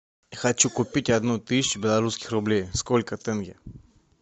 хочу купить одну тысячу белорусских рублей сколько тенге